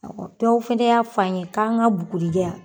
Awɔ dɔw fɛnɛ y'a f'an ye k'an ka bugurijɛ